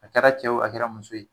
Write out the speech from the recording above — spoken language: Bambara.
A kɛra cɛ ye wo, a kɛra muso ye.